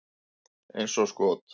Eins og skot!